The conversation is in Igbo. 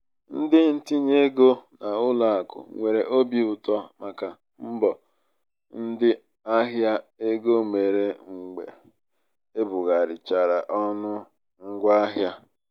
ndị ntinye ego n'ụlọ akụ nwere óbì ụtọ màkà mbọ ndị ahịa égo mere mgbe ebugharịchara ọnụ ngwa ahịa.